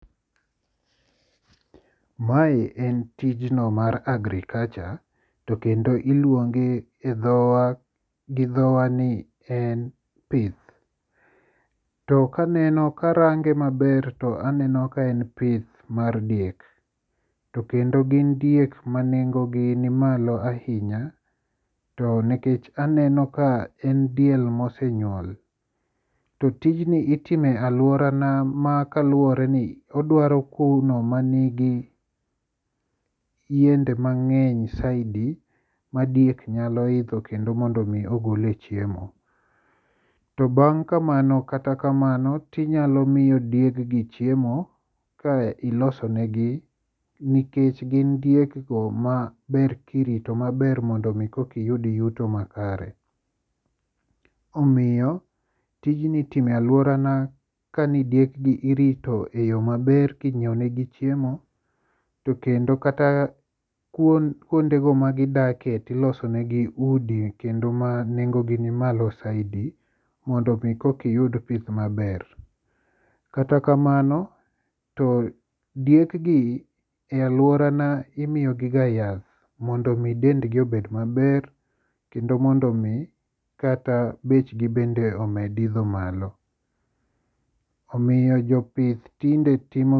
Mae en tijno mar agriculture to kendo iluonge gi dhowa ni en pith. To karange maber taneno ka en pith mar diek to kendo gin diek ma nengogi nimalo ahinya, to nikech aneno ka en diel mosenyuol to tijni itimo e alworana makaluwore ni odwaro kowno manigi yiende mang'eny saidi madiek nyalo idho kendo mondo omi ogole chemo. To bang' kamano kata kamano tinyalo miyo dieggi chiemo ka ilosonegi nikech gin diekgo maber kirito maber mondo omi kokiyud yuto makare. Omiyo tijni itime alworana kani diekgi irito e yo maber kinyieonegi chiemo, to kendo kata kuondego magidake tilosonegi udi kendo ma nengogi nimalo saidi mondo omi kokiyud pith maber. Kata kamano, to diekgi e alworana imiyogiga yath mondo omi dendgi obed maber kendo mondo omi bechgi bende omed idho malo, omiyo jopith tinde timo..